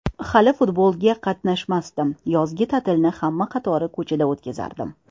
Hali futbolga qatnamasdim, yozgi ta’tilni hamma qatori ko‘chada o‘tkazardim.